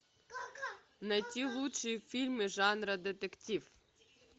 найти лучшие фильмы жанра детектив